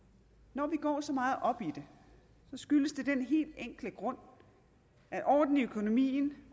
når vi går så meget op i det skyldes det den helt enkle grund at orden i økonomien